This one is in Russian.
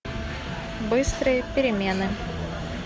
быстрые перемены